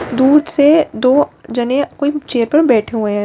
दूर से दो जने कोई चेयर पर बैठे हुए हैं।